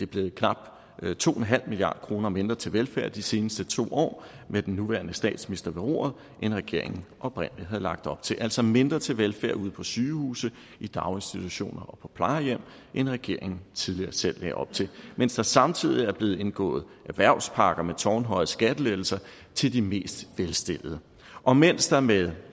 blevet knap to milliard kroner mindre til velfærd de seneste to år med den nuværende statsminister ved roret end regeringen oprindelig havde lagt op til altså mindre til velfærd ude på sygehuse i daginstitutioner og på plejehjem end regeringen tidligere selv lagde op til mens der samtidig er blevet indgået erhvervspakker med tårnhøje skattelettelser til de mest velstillede og mens der med